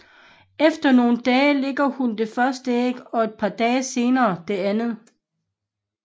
Efter nogle dage lægger hun det første æg og et par dage senere det andet